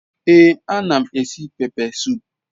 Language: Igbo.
Ee anam esi pepe sup